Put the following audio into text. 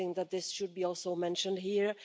I think that this should also be mentioned here.